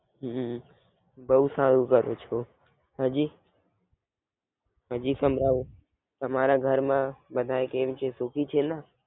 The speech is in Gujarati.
હમ બવ સારું કરો છો. હજી હજી સમજાવ. તમારા ઘર માં બધા કેમ છે? સુખી છેને?